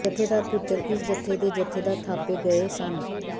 ਜਥੇਦਾਰ ਭੁੱਚਰ ਇਸ ਜਥੇ ਦੇ ਜਥੇਦਾਰ ਥਾਪੇ ਗਏ ਸਨ